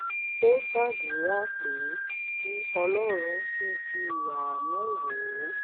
um ó ṣàdúrà pé kí ọlọ́run ṣíjú àánú um wò ó